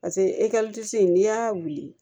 Paseke in n'i y'a wili